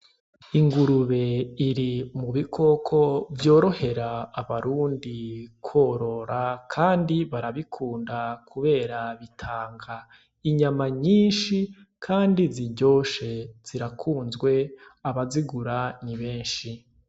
Ingurube iri mu bikoko vyorohera abarundi korora kandi barabikunda kubera bitanga inyama nyinshi kandi ziryoshe, zirakunzwe, abazigura ni benshi.